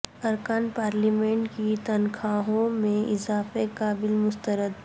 ارکان پارلیمنٹ کی تنخواہوں میں اضافے کا بل مسترد